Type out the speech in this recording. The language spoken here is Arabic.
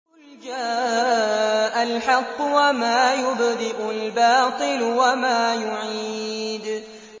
قُلْ جَاءَ الْحَقُّ وَمَا يُبْدِئُ الْبَاطِلُ وَمَا يُعِيدُ